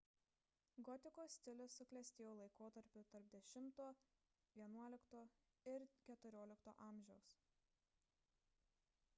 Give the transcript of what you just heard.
gotikos stilius suklestėjo laikotarpiu tarp x–xi ir xiv amžiaus